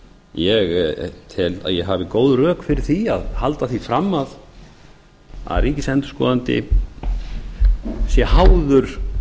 ég tel að ég hafi góð rök fyrir því að halda því fram að ríkisendurskoðandi sé háður